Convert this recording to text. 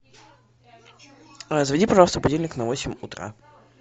заведи пожалуйста будильник на восемь утра